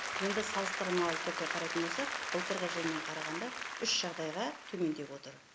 енді салыстырмалы түрде қарайтын болсақ былтырғы жылмен қарағанда үш жағдайға төмендеп отыр